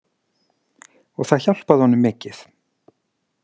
Og það hjálpaði honum mikið.